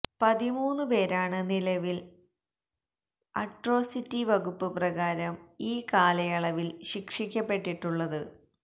പതിമൂന്നു പേരാണ് നിലവിൽ അട്രൊസിറ്റി വകുപ്പ് പ്രകാരം ഈ കാലയളവിൽ ശിക്ഷിക്കപ്പെട്ടിട്ടുള്ളത്